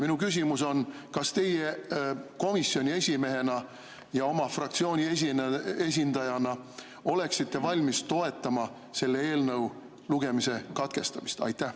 Minu küsimus on: kas teie komisjoni esimehena ja oma fraktsiooni esindajana oleksite valmis toetama selle eelnõu lugemise katkestamist?